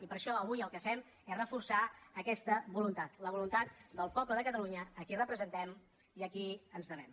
i per això avui el que fem és reforçar aquesta voluntat la voluntat del poble de catalunya a qui representem i a qui ens devem